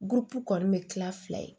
kɔni bɛ kila fila ye